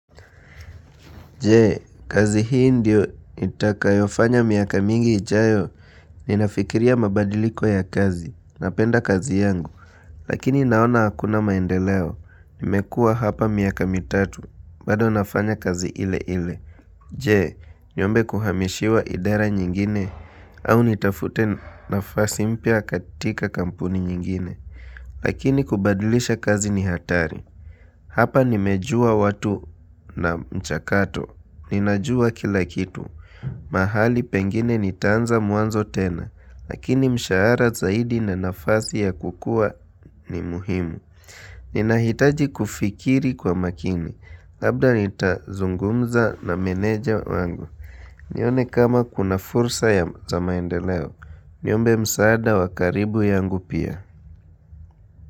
Je, kazi hii ndio nitakayofanya miaka mingi ijayo, ninafikiria mabadiliko ya kazi, napenda kazi yangu, lakini naona hakuna maendeleo, nimekua hapa miaka mitatu, bado nafanya kazi ile ile. Je, niombe kuhamishiwa idara nyingine, au nitafute nafasi mpya katika kampuni nyingine, lakini kubadalisha kazi ni hatari. Hapa nimejua watu na mchakato, ninajua kila kitu, mahali pengine nitaanza mwanzo tena, lakini mshahara zaidi na nafasi ya kukua ni muhimu. Ninahitaji kufikiri kwa makini, labda nitazungumza na meneja wangu, nione kama kuna fursa ya maendeleo, niombe msaada wa karibu yangu pia.